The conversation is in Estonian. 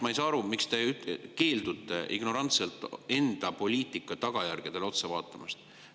Ma ei saa aru, miks te keeldute ignorantselt enda poliitika tagajärgedele otsa vaatamast.